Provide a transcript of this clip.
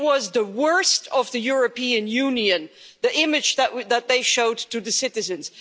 It was the worst of the European Union, the image that they showed the citizens.